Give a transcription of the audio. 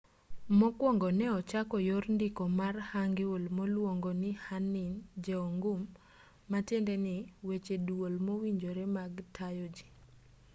mokuongo ne ochako yor ndiko mar hangeul moluonge ni hunmin jeongeum ma tiendeni weche duol mowinjore mag tayo ji